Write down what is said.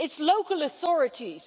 it's local authorities.